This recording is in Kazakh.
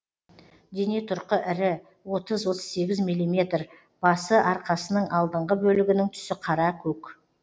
дене тұрқы ірі отыз отыз сегіз миллиметр басы арқасының алдыңғы бөлігінің түсі қара көк